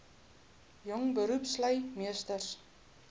jong beroepslui meesters